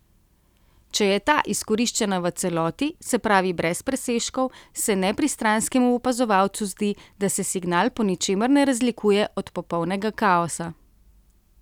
Če je ta izkoriščena v celoti, se pravi brez presežkov, se nepristranskemu opazovalcu zdi, da se signal po ničemer ne razlikuje od popolnega kaosa.